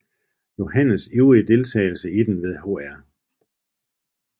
Johannes ivrige deltagelse i den ved Hr